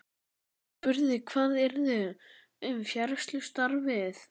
Hann spurði hvað yrði um fræðslustarfið.